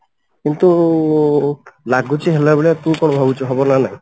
କିନ୍ତୁ ଲାଗୁଛି ହେଲା ଭଳିଆ ତୁ କଣ ଭାବୁଛୁ ହବ ନା ନାହିଁ